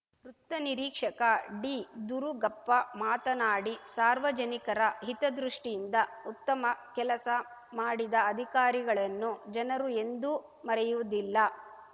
ವೃತ್ತ ನಿರೀಕ್ಷಕ ಡಿದುರುಗಪ್ಪ ಮಾತನಾಡಿ ಸಾರ್ವಜನಿಕರ ಹಿತದೃಷ್ಟಿಯಿಂದ ಉತ್ತಮ ಕೆಲಸ ಮಾಡಿದ ಅಧಿಕಾರಿಗಳನ್ನು ಜನರು ಎಂದೂ ಮರೆಯುವುದಿಲ್ಲ